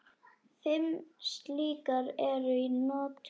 Fimm slíkar eru í notkun.